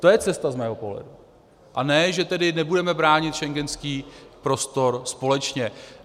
To je cesta z mého pohledu, a ne že tedy nebudeme bránit schengenský prostor společně.